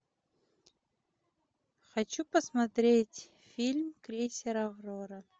хочу посмотреть фильм крейсер аврора